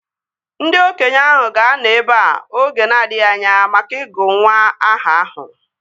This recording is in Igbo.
Ndị okenye ahụ ga-anọ ebea oge na-adịghị anya maka ịgụ nwa aha ahụ